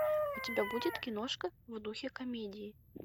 у тебя будет киношка в духе комедии